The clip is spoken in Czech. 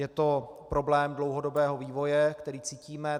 Je to problém dlouhodobého vývoje, který cítíme.